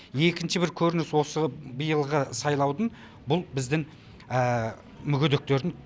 екінші бір көрініс осы биылғы сайлаудың бұл біздің мүгедектердің